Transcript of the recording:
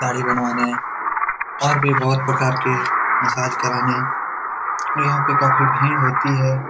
दाढ़ी बनवाने और भी बहुत प्रकार के मसाज कराने और यहाँ पे काफी भीड़ होती हैं।